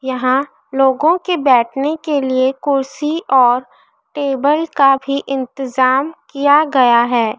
यहां लोगों के बैठने के लिए कुर्सी और टेबल का भी इंतजाम किया गया है।